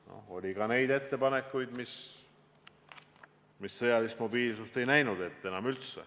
Noh, oli ka neid ettepanekuid, mis sõjalist mobiilsust enam üldse ette ei näinud.